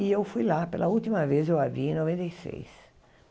E eu fui lá pela última vez, eu a vi em noventa e seis.